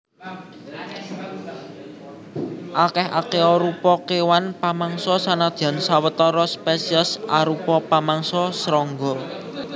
Akèh akéarupa kéwan pamangsa senadyan sawetara spesiés arupa pamangsa srangga